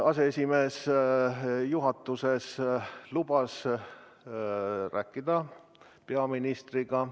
Aseesimees lubas juhatuses, et räägib peaministriga.